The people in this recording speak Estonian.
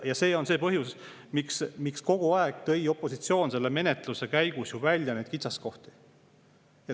Ja see on see põhjus, miks opositsioon tõi kogu selle menetluse käigus välja neid kitsaskohti.